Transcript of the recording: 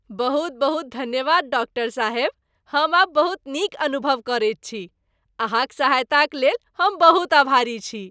बहुत बहुत धन्यवाद, डॉक्टर साहेब! हम आब बहुत नीक अनुभव करैत छी। अहाँक सहायताक लेल हम बहुत आभारी छी।